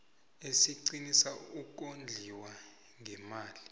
esiqinisa ukondliwa ngeemali